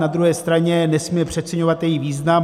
Na druhé straně nesmíme přeceňovat její význam.